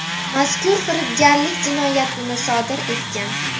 mazkur firibgarlik jinoyatini sodir etgan.